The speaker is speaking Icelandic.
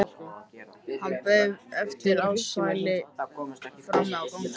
Hann beið eftir Ársæli frammi á gangi.